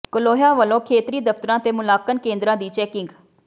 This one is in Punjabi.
ਕਲੋਹੀਆ ਵੱਲੋਂ ਖੇਤਰੀ ਦਫ਼ਤਰਾਂ ਤੇ ਮੁਲਾਂਕਣ ਕੇਂਦਰਾਂ ਦੀ ਚੈਕਿੰਗ